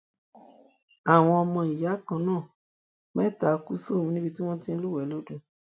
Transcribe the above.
àwọn ọmọ ìyá kan náà mẹta kú sómi níbi tí wọn ti ń lúwẹẹ lódò